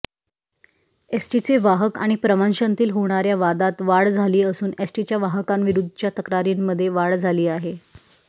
एसटीचे वाहक आणि प्रवाशांतील होणार्या वादात वाढ झाली असून एसटीच्या वाहकांविरूद्धच्या तक्रारींमध्ये वाढ झाली आहे